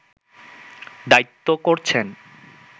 দায়িত্ব করছেন